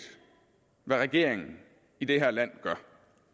hvad regeringen i det her land gør